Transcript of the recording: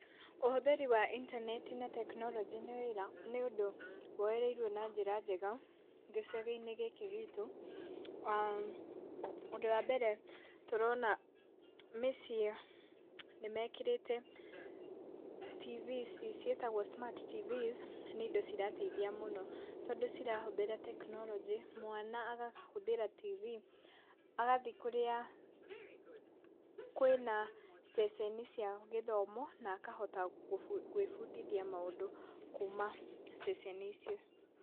Ũhũthĩri wa intaneti na tekinoronjĩ nĩ wĩra, nĩũndũ nĩwoyereĩrwo na njĩra njega gĩcagi-inĩ gĩkĩ gitũ. aah Ũndũ wa mbere, tũrona mĩciĩ nĩmekĩrĩte TV ici ciĩtagwo smart tv nĩ indo cĩrateithĩa mũno, tondũ cirahũthĩra tekinoronjĩ, mwana akahũthĩra TV, agathiĩ kũrĩa kwĩna ceceni cia gĩthomo, na akahota kwĩbundithĩa maũndũ kuumana ceceni icio.